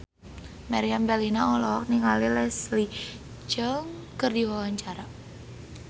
Meriam Bellina olohok ningali Leslie Cheung keur diwawancara